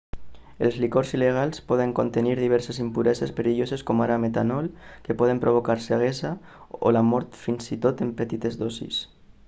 els licors il·legals poden contenir diverses impureses perilloses com ara metanol que poden provocar ceguesa o la mort fins i tot en petites dosis